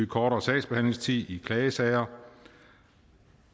kortere sagsbehandlingstid i klagesager